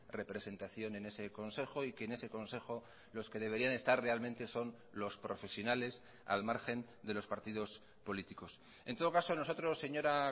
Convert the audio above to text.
representación en ese consejo y que en ese consejo los que deberían estar realmente son los profesionales al margen de los partidos políticos en todo caso nosotros señora